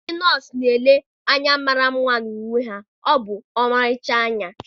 ndị nọọsụ na-ele anya mara mma na uwe ọcha ha, ọ bụ ọmarịcha anya.